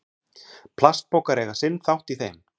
plastpokar eiga sinn þátt í þeim